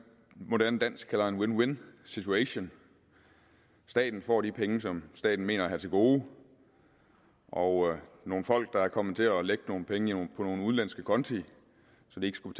moderne dansk kalder en win win situation staten får de penge som staten mener at have til gode og nogle folk der er kommet til at lægge nogle penge i nogle udenlandske konti så de ikke skulle